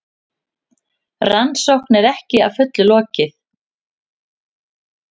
Rannsókn er ekki að fullu lokið